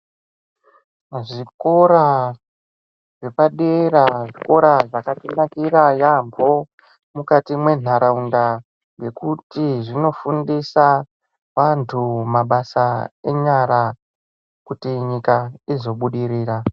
Zvikora zvepadera zvikora zvakatinakira yaambo mukati mwentaraunda. Ngekuti zvinofundisa vantu mabasa enyara kuti nyika izobudirira.